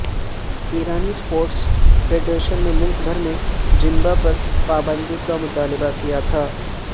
ایرانی sports federation نے ملک بھر میں زمبا پر پابندی کا مطالبہ کیا تھا